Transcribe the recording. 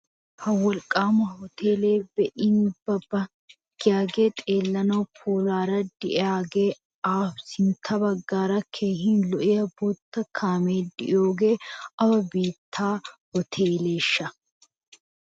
Ha wolqqaama uuteelee be"in be'a be'a giyagee xeellanawu puulaara de'iyagee awa sintta baggara keehin lo"iya bootta kaamiya de'iyoee awa biittaa uteeleeshsha?